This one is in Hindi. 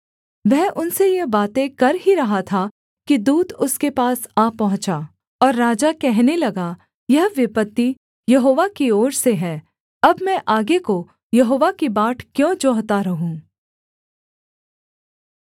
वह उनसे यह बातें कर ही रहा था कि दूत उसके पास आ पहुँचा और राजा कहने लगा यह विपत्ति यहोवा की ओर से है अब मैं आगे को यहोवा की बाट क्यों जोहता रहूँ